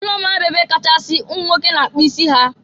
ụlọ mmanya bụ ebe ọkachasị ụmụ nwoke na-akpụ isi ha.